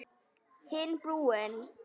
Hinn brúnn.